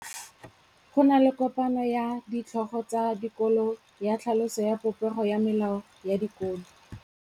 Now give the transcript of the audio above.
Go na le kopanô ya ditlhogo tsa dikolo ya tlhaloso ya popêgô ya melao ya dikolo.